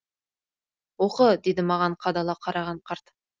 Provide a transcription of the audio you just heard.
оқы деді маған қадала қараған қарт